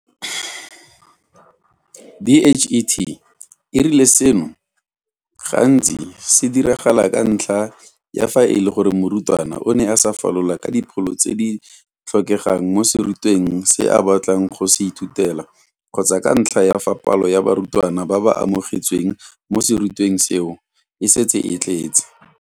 DHET e rile seno gantsi se diragala ka ntlha ya fa e le gore morutwana o ne a sa falola ka dipholo tse di tlhokegang mo serutweng se a batlang go se ithutela kgotsa ka ntlha ya fa palo ya barutwana ba ba amogetsweng mo serutweng seo e setse e tletse.